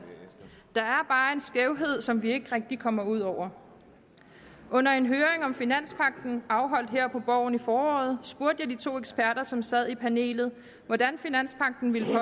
der er bare en skævhed som vi ikke rigtig kommer ud over under en høring om finanspagten afholdt her på borgen i foråret spurgte jeg de to eksperter som sad i panelet hvordan finanspagten ville